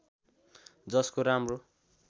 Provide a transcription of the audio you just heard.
जसको राम्रो